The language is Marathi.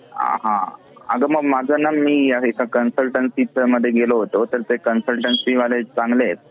अ हा. अगं मग मागे ना मी एका consultancy मध्ये गेलो होता तर ते consultancy वाले चांगले आहेत.